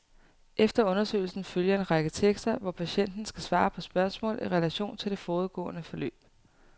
Efter undersøgelsen følger en række tekster, hvor patienten skal svare på spørgsmål i relation til det forudgående forløb.